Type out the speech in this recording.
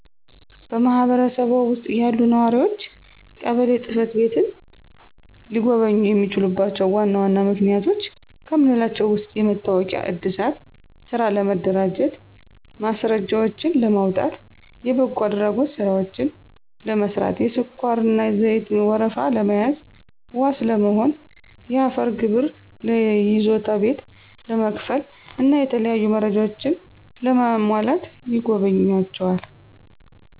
በማህበረሰብዎ ውስጥ ያሉ ነዋሪዎች ቀበሌ ጽ/ቤትን ሊጎበኙ የሚችሉባቸው ዋና ዋና ምክንያቶች ከምንላቸው ውስጥ የመታወቂያ ዕድሳት፣ ስራ ለመደራጀት ማስረጃዎችን ለማውጣት፣ የበጎ አድራጎት ስራዎችን ለመስራት፣ የስኳርና ዘይት ወረፋ ለመያዝ፣ ዋስ ለመሆን፣ የአፈር ግብር ለይዞታ ቤት ለመክፈል እና የተለያዩ መረጃዎች ለማሟላት ይጎበኟቸዋል።